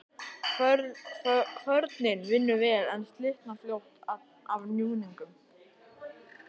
Kvörnin vinnur vel, en slitnar fljótt af núningnum.